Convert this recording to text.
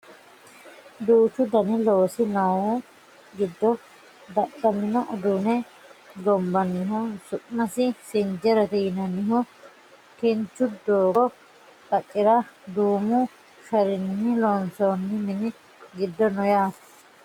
duuchu dani loosi noohu giddo dadhamino uduunne gonbannihu su'masi sinjerete yinannihu kinchu doogo qaccera duumu sharinni loonsoonni mini giddo no yaate